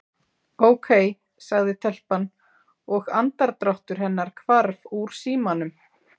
Ókei sagði telpan og andardráttur hennar hvarf úr símanum.